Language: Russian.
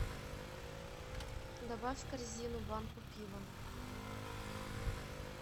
добавь в корзину банку пива